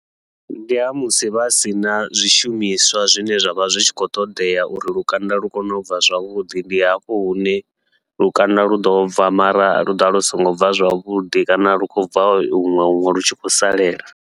Ndi ha musi vha sina zwishumiswa zwine zwavha zwi tshi khou ṱoḓea uri lukanda lu kone ubva zwavhuḓi, ndi hafho hune lukanda luḓo bva mara lu ḓovha lu songo bva zwavhuḓi kana lu khou bva huṅwe huṅwe lu tshi khou salela.